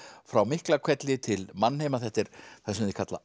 frá Miklahvelli til mannheima þetta er það sem þeir kalla